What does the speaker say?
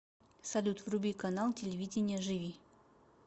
салют вруби канал телевидения живи